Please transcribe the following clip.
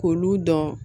K'olu dɔn